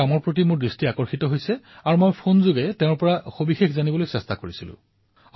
তেওঁৰ এই কাম লক্ষ্য কৰি মই তেওঁৰ সৈতে ফোনত কথা পাতি এই নতুন প্ৰয়োগৰ বিষয়ে জানিবলৈ চেষ্টা কৰিলো